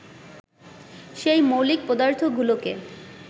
সেই মৌলিক পদার্থগুলোকে